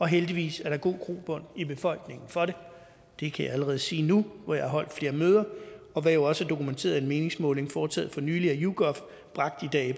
heldigvis er der god grobund i befolkningen for det det kan jeg allerede sige nu hvor jeg har holdt flere møder og hvad jo også er dokumenteret i en meningsmåling foretaget for nylig af yougov bragt i dag i